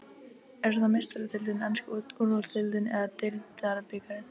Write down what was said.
Er það Meistaradeildin, enska úrvalsdeildin eða deildarbikarinn?